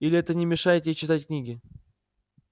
или это не мешает ей читать книги